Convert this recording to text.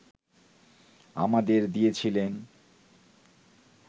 আমাদের দিয়েছিলেন